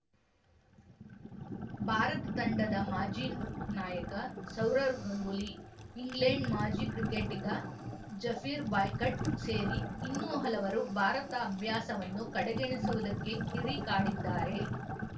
ಭಾರತ ತಂಡದ ಮಾಜಿ ನಾಯಕ ಸೌರವ್‌ ಗಂಗೂಲಿ ಇಂಗ್ಲೆಂಡ್‌ ಮಾಜಿ ಕ್ರಿಕೆಟಿಗ ಜೆಫಿರ್ ಬಾಯ್ಕಾಟ್‌ ಸೇರಿ ಇನ್ನೂ ಹಲವರು ಭಾರತ ಅಭ್ಯಾಸವನ್ನು ಕಡೆಗಣಿಸುವುದಕ್ಕೆ ಕಿಡಿ ಕಾಡಿದ್ದಾರೆ